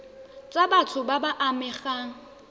tsa batho ba ba amegang